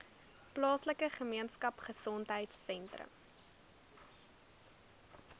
plaaslike gemeenskapgesondheid sentrum